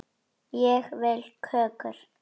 Ég vil kökur.